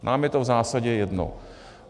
Nám je to v zásadě jedno.